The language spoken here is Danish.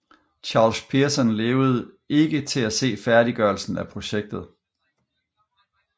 Charles Pearson levede ikke til at se færdiggørelsen af projektet